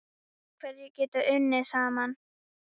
En hverjir geta unnið saman?